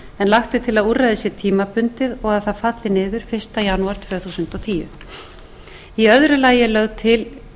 lagt er til að úrræðið sé tímabundið og það falli niður fyrsta janúar tvö þúsund og tíu í öðru lagi er lögð til